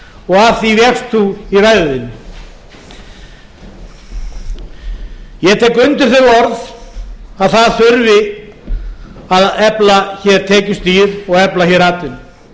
og það því vékst þú í ræðu þinni ég tek undir þau orð að það þurfi að efla tekjustig og efla hér atvinnu